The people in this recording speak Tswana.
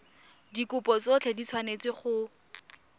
dikopo tsotlhe di tshwanetse go